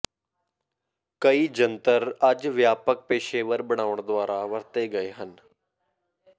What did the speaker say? ਕਈ ਜੰਤਰ ਅੱਜ ਵਿਆਪਕ ਪੇਸ਼ੇਵਰ ਬਣਾਉਣ ਦੁਆਰਾ ਵਰਤੇ ਗਏ ਹਨ